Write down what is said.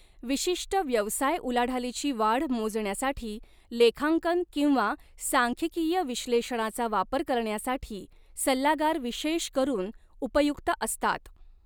विशिष्ट व्यवसाय उलाढालीची वाढ मोजण्यासाठी लेखांकन किंवा सांख्यिकीय विश्लेषणाचा वापर करण्यासाठी सल्लागार विशेष करून उपयुक्त असतात.